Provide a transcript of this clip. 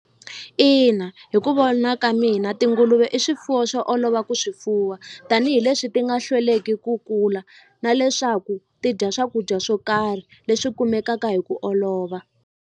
Ina hi ku vona ka mina tinguluve i swifuwo swo olova ku swi fuwa tanihileswi ti nga hlweleki ku kula na leswaku ti dya swakudya swo karhi leswi kumekaka hi ku olova.